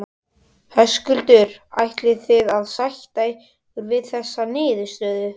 Höskuldur: Ætlið þið að sætta ykkur við þessa niðurstöðu?